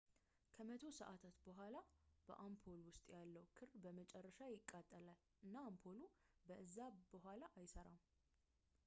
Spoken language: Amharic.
ከመቶ ሰዓታት ሥራ በኋላ በአምፖል ውስጥ ያለው ክር በመጨረሻ ይቃጠላል እና አምፖሉ ከእዛ በዋላ አይሠራም